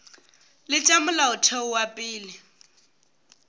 le tša molaotheo wa pele